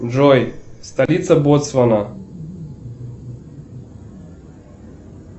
джой столица ботсвана